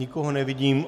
Nikoho nevidím.